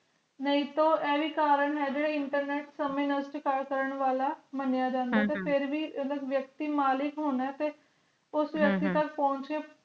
ਨਾਈ ਤੋਂ ਆਈਵੀ ਕਰਨ ਹੈ internet ਸਮਾਜ ਵਾਸਤੇ call ਕਾਰਨ ਵਾਲਾ ਮਾਣਿਆ ਹਮ ਜਾਂਦਾ ਤੇ ਫਿਰ ਵੀ ਵਿਅਕਤੀ ਮਲਿਕ ਹੋਣਾ ਤੇ ਉਸ ਹਮ ਵਿਅਕਤੀ ਤਕ ਪੋਚ ਕੇ